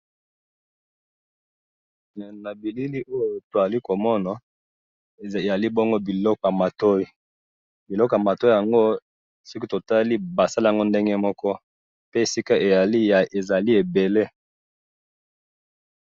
Ba bilili oyo to moni ezali biloko ya matoyi na oyo to moni ezali ebele.